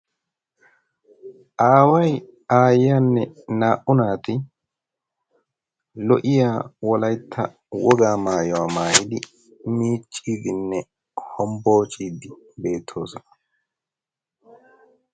Aaway aayyeyaanne naa"u naati lo"iya wolaytta wogaa maayuwaa maayidi miicciidinne hombboociiddi beettoosana.